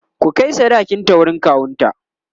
ku Kai sadakin ta wurin kawunta!